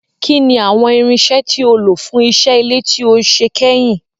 Kín ni àwọn irinṣẹ́ tí o lò fún iṣẹ́ ilé tí o ṣe kẹyìn?